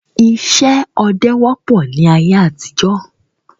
Ìṣe ọdẹ wọ́pọ̀ ni ayé àtijọ́